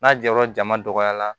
N'a jɔyɔrɔ jama dɔgɔyara